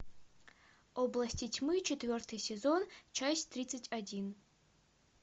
области тьмы четвертый сезон часть тридцать один